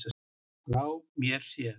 Frá mér séð.